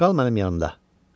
Qal mənim yanımda.